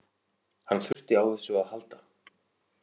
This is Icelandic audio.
Hann þurfti á þessu að halda